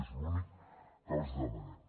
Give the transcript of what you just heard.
és l’únic que els demanem